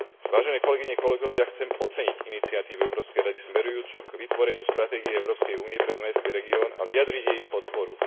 Vážené kolegyne, kolegovia, chcem oceniť iniciatívu Európskej rady smerujúcu k vytvoreniu Stratégie Európskej únie pre Dunajský región a vyjadriť jej podporu.